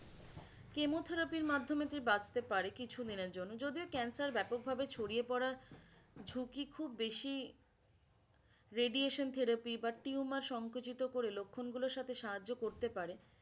chemotherapy র মাধ্যমে সে বাঁচতে পারে কিছু দিনের জন্য, যদিও cancer ব্যাপক ভাবে ছড়িয়ে পরার ঝুঁকি খুব বেশি radiation therapy বা tumour সংকোচিত করে লক্ষণগুলোর সাথে সাহায্য করতে পারে